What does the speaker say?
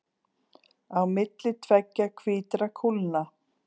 Á milli tveggja hvítra kúlna.